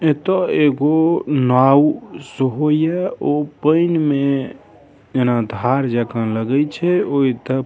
एत एगो नाव ओपाई में धार जेखउ लगइ छै ओई त --